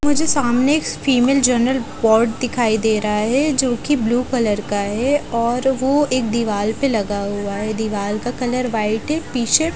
मुझे सामने एक फीमेल जनरल वार्ड दिखाई दे रहा है जो की ब्लू कलर का है और वो एक दीवाल पे लगा हुआ है दीवाल का कलर व्हाइट है। पीछे --